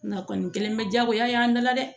Nga kɔni kɛlen bɛ diyagoya ye an bɛɛ la dɛ